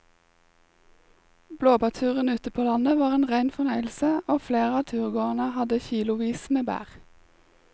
Blåbærturen ute på landet var en rein fornøyelse og flere av turgåerene hadde kilosvis med bær.